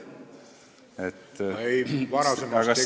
Ei, see oli varasemas tekstis ...